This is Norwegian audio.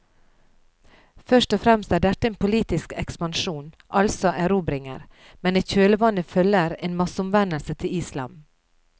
Først og fremst er dette en politisk ekspansjon, altså erobringer, men i kjølvannet følger en masseomvendelse til islam.